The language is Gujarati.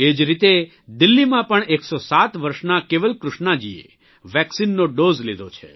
એ જ રીતે દિલ્હીમાં પણ 107 વર્ષનાં કેવલકૃષ્ણાજીએ વેક્સિનનો ડોઝ લીધો છે